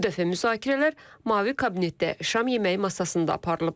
Bu dəfə müzakirələr mavi kabinetdə, şam yeməyi masasında aparılıb.